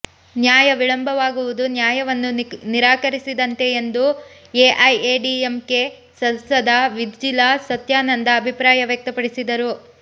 ನ್ಯಾಯ ವಿಳಂಬವಾಗುವುದು ನ್ಯಾಯವನ್ನು ನಿರಾಕರಿಸಿದಂತೆ ಎಂದು ಎಐಎಡಿಎಂಕೆ ಸಂಸದ ವಿಜಿಲಾ ಸತ್ಯಾನಂದ ಅಭಿಪ್ರಾಯವ್ಯಕ್ತಪಡಿಸಿದರು